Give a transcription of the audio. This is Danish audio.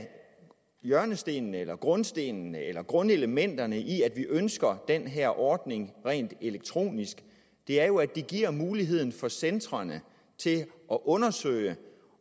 hjørnestenene eller grundstenene eller grundelementerne i at vi ønsker den her ordning rent elektronisk er jo at den giver mulighed for centrene til at undersøge